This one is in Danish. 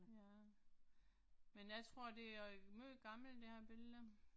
Ja. Men jeg tror det er meget gammelt det her billede